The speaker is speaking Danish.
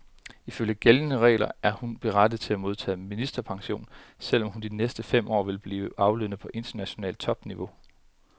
Ifølge gældende regler er hun berettiget til at modtage ministerpension, selv om hun de næste fem år vil blive aflønnet på internationalt topniveau.